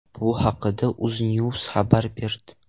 Bu haqda UzNews xabar berdi .